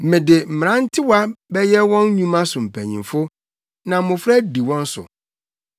“Mede mmerantewa bɛyɛ wɔn nnwuma so mpanyimfo; na mmofra adi wɔn so.”